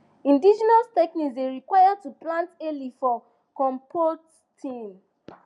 indigenous technique dey require to plant early for composting